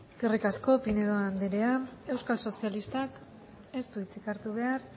eskerrik asko pinedo andrea euskal sozialistak ez du hitzik hartu behar